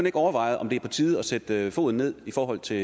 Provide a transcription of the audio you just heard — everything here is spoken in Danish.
ikke overvejet om det er på tide at sætte foden ned i forhold til